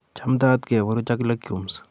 Chamtaat keburuch ak legumes